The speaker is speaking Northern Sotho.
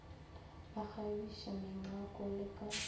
ba kgabiša mengwako le ka